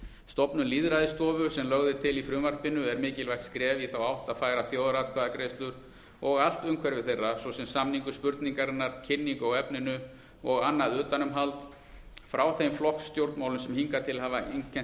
stofnun lýðræðisstofu sem lögð er til í frumvarpinu er mikilvægt skref í þá átt að færa þjóðaratkvæðagreiðslur og allt umhverfi þeirra svo sem samningu spurningarinnar kynningu á efninu og annað utanumhald frá þeim flokkastjórnmálum sem hingað til hafa einkennt